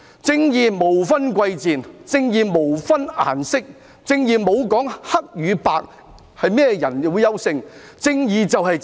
正義無分貴賤，正義無分顏色，正義沒說黑與白種人誰較優勝，正義便是正義。